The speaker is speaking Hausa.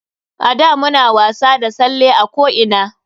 A da muna wasa da salle a ko ina.